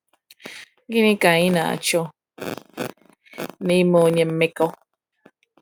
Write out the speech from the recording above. Gịnị ka ị na-achọ n’ime onye mmekọ?